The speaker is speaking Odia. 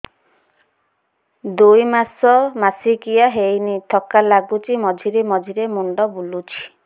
ଦୁଇ ମାସ ମାସିକିଆ ହେଇନି ଥକା ଲାଗୁଚି ମଝିରେ ମଝିରେ ମୁଣ୍ଡ ବୁଲୁଛି